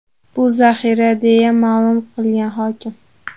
Bu zaxira”, deya ma’lum qilgan hokim.